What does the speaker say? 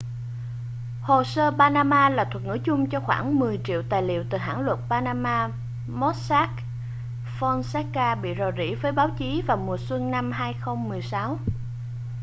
hồ sơ panama là thuật ngữ chung cho khoảng mười triệu tài liệu từ hãng luật panama mossack fonseca bị rò rỉ với báo chí vào mùa xuân 2016